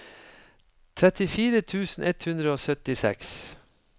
trettifire tusen ett hundre og syttiseks